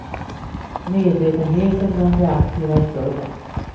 Medvetenheten bland de aktiva är större.